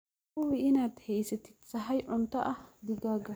Hubi inaad haysatid sahay cunto ah digaagga.